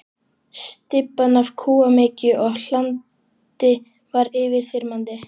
Stybban af kúamykju og hlandi var yfirþyrmandi.